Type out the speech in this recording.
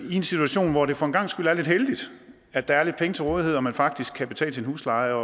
i en situation hvor det for en gangs skyld er lidt heldigt at der er lidt penge til rådighed og man faktisk kan betale sin husleje